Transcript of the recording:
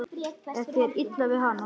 Er þér illa við hana?